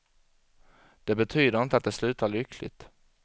Det betyder inte att det slutar lyckligt.